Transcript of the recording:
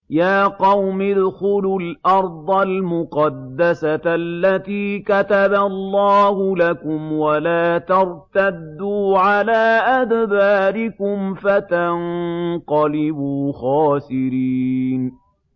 يَا قَوْمِ ادْخُلُوا الْأَرْضَ الْمُقَدَّسَةَ الَّتِي كَتَبَ اللَّهُ لَكُمْ وَلَا تَرْتَدُّوا عَلَىٰ أَدْبَارِكُمْ فَتَنقَلِبُوا خَاسِرِينَ